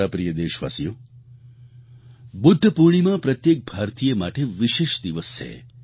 મારા પ્રિય દેશવાસીઓ બુદ્ધ પૂર્ણિમા પ્રત્યેક ભારતીય માટે વિશેષ દિવસ છે